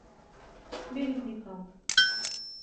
березникам